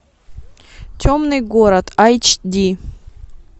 темный город айч ди